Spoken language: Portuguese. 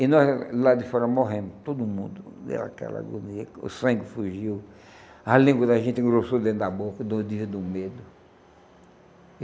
E nós lá de fora morremos, todo mundo, aquela agonia, o sangue fugiu, a língua da gente engrossou dentro da boca, do dia do medo.